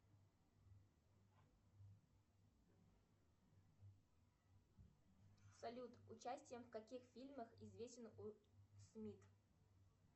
салют участием в каких фильмах известен уилл смит